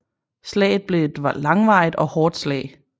Slaget blev et langvarigt og hårdt slag